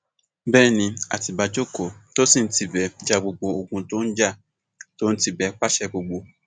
bẹẹ ni àtibá jókòó tó sì ń tibẹ ja gbogbo ogun tó ń jà tó ń tibẹ pàṣẹ gbogbo